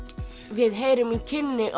við heyrum í kynni